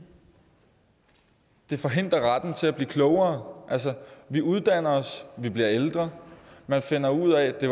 det forhindrer at retten til at blive klogere altså vi uddanner os vi bliver ældre man finder ud af at det